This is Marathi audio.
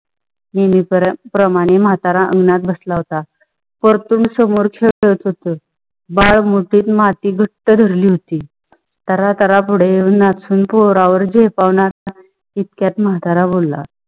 कुंडी प्रमाणे मंतरा आंगणात बसला होता. परतुंड समोर खेळात होतो बाळ मुठीत माती घटह धरली होती. त्राह त्राह पुडे उन्हात टुन्न पोरा वर झेपुन इतक्यात माताऱ्या बोला-